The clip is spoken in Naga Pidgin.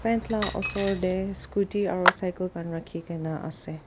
Fan la osor tae scooty aro cycle khan rakhikaena ase.